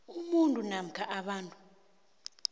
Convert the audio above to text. umuntu namkha abantu